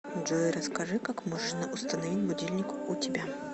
джой расскажи как можно установить будильник у тебя